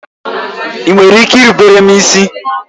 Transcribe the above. Ị nwere ike irubere m isi?